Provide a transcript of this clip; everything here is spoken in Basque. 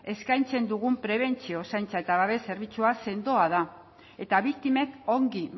eskaintzen dugun prebentzio zaintza eta babes zerbitzua sendoa da eta biktimek ongi